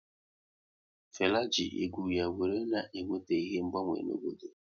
Fela ji egwu ya wéré na eweta ihe mgbanwe n'obodo